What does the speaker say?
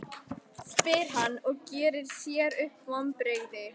spyr hann og gerir sér upp vonbrigði.